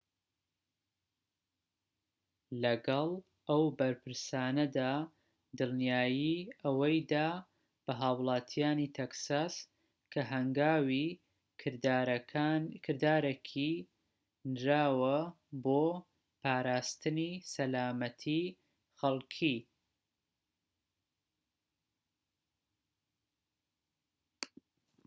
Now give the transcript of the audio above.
لەگەڵ ئەو بەرپرسانەدا دڵنیایی ئەوەی دا بە هاوڵاتیانی تەکساس کە هەنگاوی کردارەکی نراوە بۆ پاراستنی سەلامەتیی خەڵكی